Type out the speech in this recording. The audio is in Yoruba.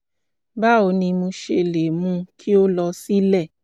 báwo ni mo ṣe lè mú kí ó lọ sílẹ̀?